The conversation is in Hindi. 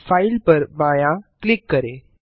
फाइल पर बायाँ क्लिक करें